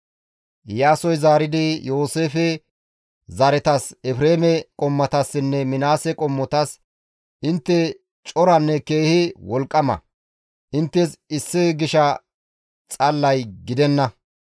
Iyaasoy zaaridi Yooseefe zaretas Efreeme qommotassinne Minaase qommotas, «Intte coranne keehi wolqqama; inttes issi gisha xallay gidenna.